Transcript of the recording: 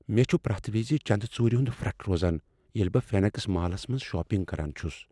مےٚ چھُ پریتھ وزِ چند ژُورِ ہُند پھرٹھ روزان ییلِہ بہٕ فینکٕس مالس منز شاپنگ کران چھس ۔